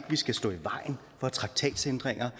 vi skal stå i vejen for traktatændringer